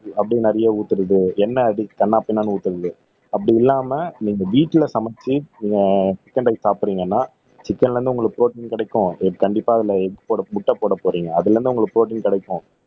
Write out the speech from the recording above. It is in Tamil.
அப்படியே நிறையா ஊத்துறது எண்ண அதி கன்னாபின்னான்னு ஊத்தறது அப்படி இல்லாம நீங்க வீட்ல சமெச்சு நீங்க சிக்கன் ரைஸ் சாப்பிடறீங்கன்னா சிக்கன்ல இருந்து உங்களுக்கு ப்ரோடீன் கிடைக்கும் கண்டிப்பா அதுல எக் முட்டை போடப்போறீங்க அதுல இருந்து உங்களுக்கு ப்ரோடீன் கிடைக்கும்